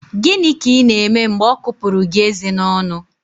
Gịnị ka Ị na-eme mgbe ọ kupụrụ gị eze n'ọnụ?